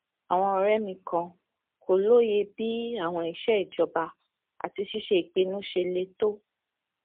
àwọn ọrẹ mi kan kò lóye bí àwọn iṣẹ ìjọba àti ṣíṣe ìpinnu ṣe le tó